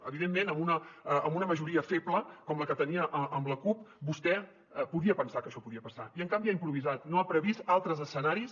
evidentment amb una majoria feble com la que tenia amb la cup vostè podia pensar que això podia passar i en canvi ha improvisat no ha previst altres escenaris